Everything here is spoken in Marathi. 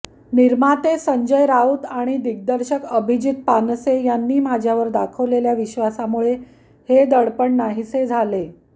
निर्माते संजय राऊत आणि दिग्दर्शक अभिजित पानसे यांनी माझ्यावर दाखवलेल्या विश्वासामुळे हे दडपण नाहीसे झाले